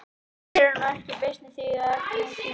Þínir eru nú ekki svo beysnir að þú hafir efni á því.